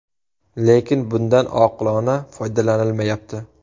Lekin bundan oqilona foydalanilmayapti.